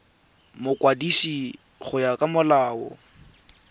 mokwadisi go ya ka molao